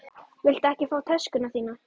Viltu ekki fá töskuna þína?